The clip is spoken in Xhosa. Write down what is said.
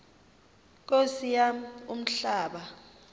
nkosi yam umhlaba